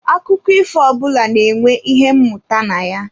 Akụkọ ifo ọbụla na-enwe ihe mmụta na ya.